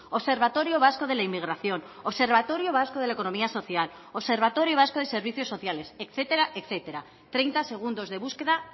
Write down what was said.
observatorio vasco de la inmigración observatorio vasco de la economía social observatorio vasco de servicios sociales etcétera etcétera treinta segundos de búsqueda